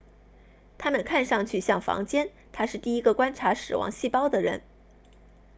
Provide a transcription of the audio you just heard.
它们看上去像房间他是第一个观察死亡细胞的人